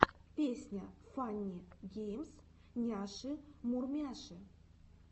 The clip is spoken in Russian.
песня фанни геймс няши мурмяши